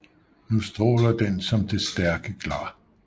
Nu straaler den som det stærke Glar